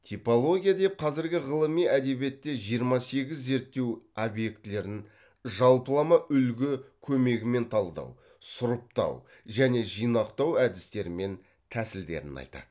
типология деп қазіргі ғылыми әдебиетте жиырма сегіз зерттеу объектілерін жалпылама үлгі көмегімен талдау сұрыптау және жинақтау әдістері мен тәсілдерін айтады